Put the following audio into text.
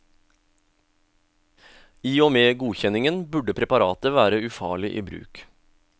I og med godkjenningen burde preparatet være ufarlig i bruk.